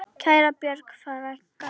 Kæra Björg frænka.